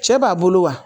Cɛ b'a bolo wa